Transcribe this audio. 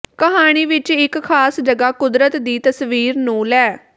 ਕਹਾਣੀ ਵਿਚ ਇਕ ਖਾਸ ਜਗ੍ਹਾ ਕੁਦਰਤ ਦੀ ਤਸਵੀਰ ਨੂੰ ਲੈ